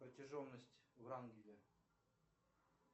протяженность врангеля